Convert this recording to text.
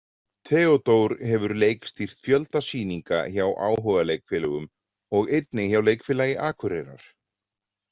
Theódór hefur leikstýrt fjölda sýninga hjá áhugaleikfélögum og einnig hjá leikfélagi Akureyrar.